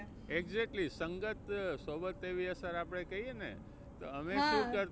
Exactly સંગત સોબત એવી અસર આપણે કહીયે ને અમે શું કરતા